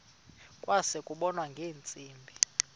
kwase kubonwa ngeentsimbi